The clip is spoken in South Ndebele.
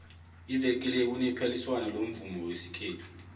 ivekele kunephaliswano lomvumo wesikhethu